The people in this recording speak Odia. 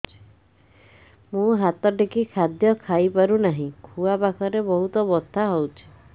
ମୁ ହାତ ଟେକି ଖାଦ୍ୟ ଖାଇପାରୁନାହିଁ ଖୁଆ ପାଖରେ ବହୁତ ବଥା ହଉଚି